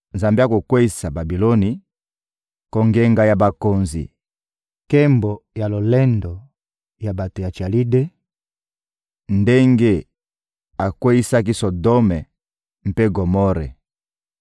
Nzambe akokweyisa Babiloni, kongenga ya babokonzi, nkembo ya lolendo ya bato ya Chalide, ndenge akweyisaki Sodome mpe Gomore.